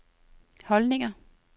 holdninger